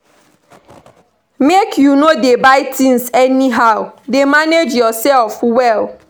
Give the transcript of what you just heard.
Make you no dey buy things anyhow dey manage yourself well